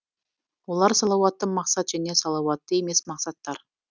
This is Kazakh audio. олар салауатты мақсат және салауатты емес мақсаттар